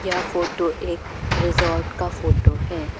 ये फोटो एक रिसोर्ट का फोटो है।